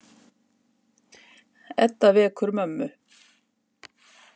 Edda vekur mömmu.